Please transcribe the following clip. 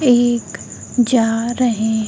एक जा रहें --